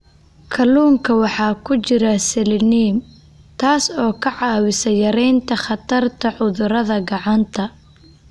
Kalluunka waxaa ku jira selenium, taas oo ka caawisa yaraynta khatarta cudurada gacanta.